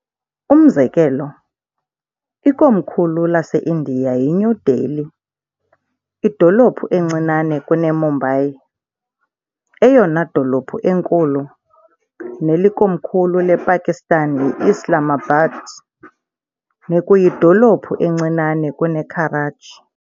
Umzekelo, ikomkhulu laseIndiya yiNew Delhi, idolophu encinane kuneMumbai, eyona dolophu enkulu, nelikomkhulu lePakistan yiIslamabad, nekuyidolophu encinane kuneKarachi.